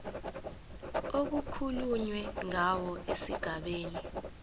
okukhulunywe ngawo esigabeni